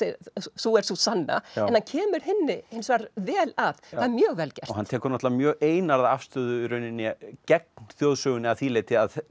sú er sú sanna en hann kemur hinni hins vegar vel að og er mjög vel gert og hann tekur náttúrulega mjög einarða afstöðu í rauninni gegn þjóðsögunni að því leyti að